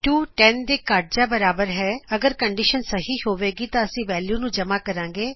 2 10 ਦੇ ਘੱਟ ਜਾ ਬਰਾਬਰ ਹੈ ਅਗਰ ਕੰਡੀਸ਼ਨ ਸਹੀ ਹੋਵੇਗੀ ਤਾ ਅਸੀ ਵੈਲਯੂ ਨੂੰ ਜਮਾ ਕਰਾਗੇ